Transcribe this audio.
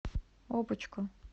опочку